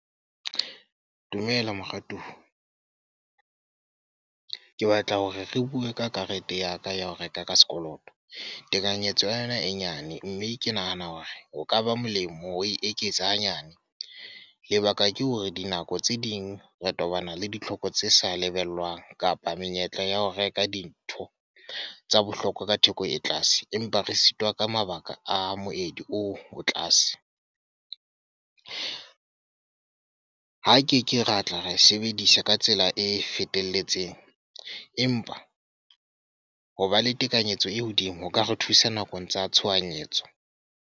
Dumela moratuwa. Ke batla hore re bue ka karete ya ka ya ho reka ka sekoloto. Tekanyetso ya ena e nyane. Mme ke nahana hore ho ka ba molemo ho e eketsa hanyane. Lebaka ke hore dinako tse ding re tobana le ditlhoko tse sa lebellwang, kapa menyetla ya ho reka dintho tsa bohlokwa ka theko e tlase. Empa re sitwa ka mabaka a moedi oo o tlase. Ha ke ke ra tla ra e sebedisa ka tsela e fetelletseng. Empa ho ba le tekanyetso e hodimo, ho ka re thusa nakong tsa tshohanyetso.